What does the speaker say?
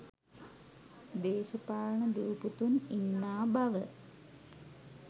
දේශපාලන දූ පුතුන් ඉන්නා බව